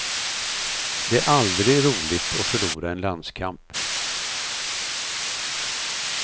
Det är aldrig roligt att förlora en landskamp.